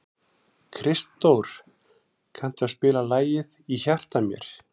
Kristdór, kanntu að spila lagið „Í hjarta mér“?